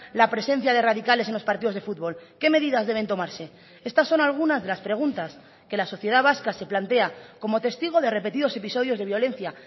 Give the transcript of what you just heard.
la presencia de radicales en los partidos de fútbol qué medidas deben tomarse estas son algunas de las preguntas que la sociedad vasca se plantea como testigo de repetidos episodios de violencia